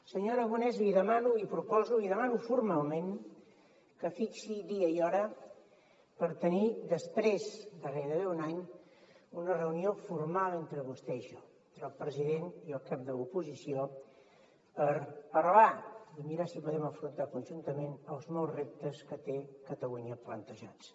senyor aragonès li demano li proposo li demano formalment que fixi dia i hora per tenir després de gairebé un any una reunió formal entre vostè i jo entre el president i el cap de l’oposició per parlar i mirar si podem afrontar conjuntament els molts reptes que té catalunya plantejats